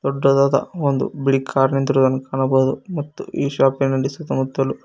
ದೊಡ್ಡದಾದ ಒಂದು ಬಿಳಿ ಕಾರ್ ನಿಂತಿರುವುದನ್ನು ಕಾಣಬಹುದು ಮತ್ತು ಈ ಶಾಪೀ ನಲ್ಲಿ ಸುತ್ತ ಮುತ್ತಲು.